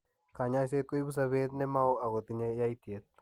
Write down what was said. Kanyoiset koibu sobet ne mao ako tinye yaitiet.